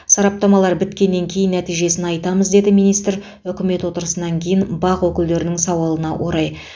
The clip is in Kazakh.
сараптамалар біткеннен кейін нәтижесін айтамыз деді министр үкімет отырысынан кейін бақ өкілдерінің сауалына орай